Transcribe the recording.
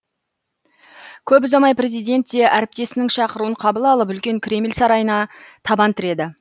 көп ұзамай президент те әріптесінің шақыруын қабыл алып үлкен кремль сарайына табан тіреді